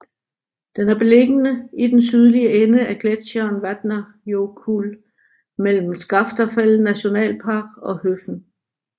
Den er beliggende i den sydlige ende af gletsjeren Vatnajökull mellem Skaftafell National Park og Höfn